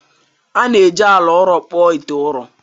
A na-eji ala ụrọ kpụọ ite ụrọ